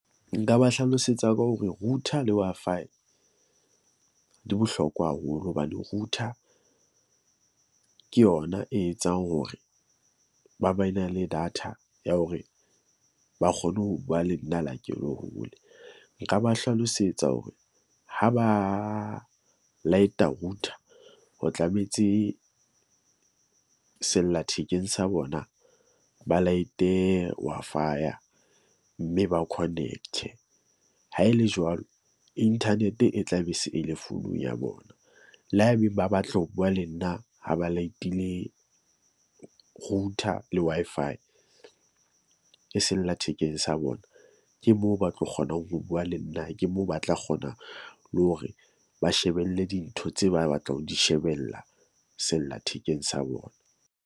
Nka ba hlalosetsa ka hore router le Wi-Fi di bohlokwa haholo hobane router, ke yona e etsang hore ba ba e na le data ya hore ba kgone ho bua le nna le ha ke lo hole. Nka ba hlalosetsa hore ha ba light-a router, ho tlametse sellathekeng sa bona ba light-e Wi-Fi-ya mme ba connect-e. Ha e le jwalo, internet-e e tla be se e le founung ya bona. Le ha ebeng ba batle ho bua le nna ha ba light-ile router le Wi-Fi, ke sellathekeng sa bona. Ke moo ba tlo kgonang ho bua le nna. Ke moo ba tla kgona le hore ba shebelle dintho tse ba batlang ho di shebella, sellathekeng sa bona.